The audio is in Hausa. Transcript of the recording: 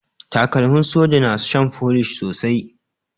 Takalmin soja na shan folish sosai.